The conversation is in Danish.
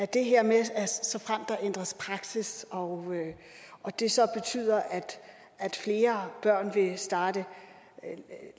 det her med at såfremt der ændres praksis og og det så betyder at flere børn vil starte